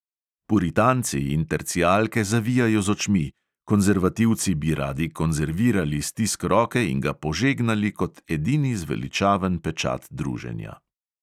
Puritanci in tercijalke zavijajo z očmi, konzervativci bi radi konzervirali stisk roke in ga požegnali kot edini zveličaven pečat druženja.